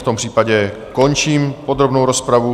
V tom případě končím podrobnou rozpravu.